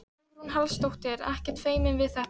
Hugrún Halldórsdóttir: Ekkert feiminn við þetta?